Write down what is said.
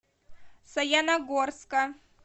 саяногорска